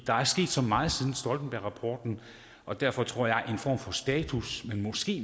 der er sket så meget siden stoltenbergrapporten og derfor tror jeg at en form for status men måske